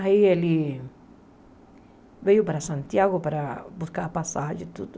Aí ele veio para Santiago para buscar a passagem e tudo.